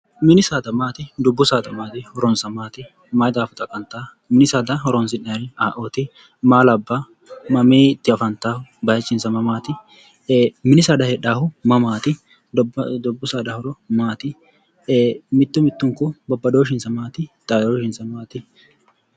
Mini saada maati, dubbu saada maati horonsa maati, maayi daafo xaqantano, mini saada horonsi'nanniri ayeeoti, maa labbano, maminniti afantanohu, bayichisa mamati, mini saada heedhanohu mamati, dubbu saada horo maati, mitu mitunku babbadooshinsa maati, xaadoshinsa maati ?